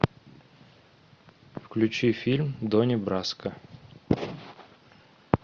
включи фильм донни браско